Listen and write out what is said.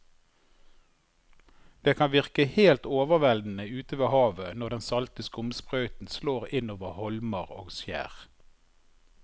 Det kan virke helt overveldende ute ved havet når den salte skumsprøyten slår innover holmer og skjær.